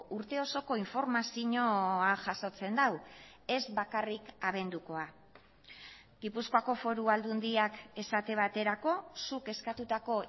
urte osoko informazioa jasotzen du ez bakarrik abendukoa gipuzkoako foru aldundiak esate baterako zuk eskatutako